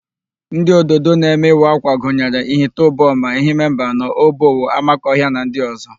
Ndị ododo na-eme ịwa ákwà gynyere: Ihite Uboma, Ehime Mbanọ, Obowo, Amakohịa na ndị ọ̀zọ́.